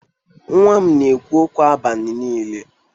Nwa m na-ekwu okwu abalị niile.